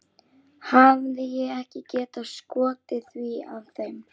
Hefði ég ekki getað skotið því að þeim